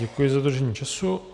Děkuji za dodržení času.